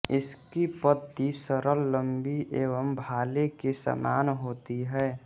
इसकी पत्ती सरल लम्बी एवं भाले के समान होती है